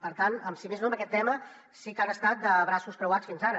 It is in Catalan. per tant si més no en aquest tema sí que han estat de braços creuats fins ara